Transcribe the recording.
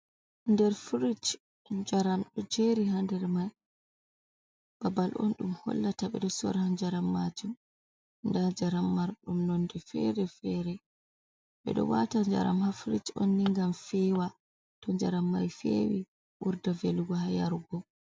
Nder frich jaram ɗo jeri ha nder mai babal on ɗum hollata ɓeɗo sora jaram majum nda jaram marɗum nonde fere fere, ɓeɗo wata jaram ha frich on ni gam fewa to jaram mai fewi ɓurda velugo ha yarugo.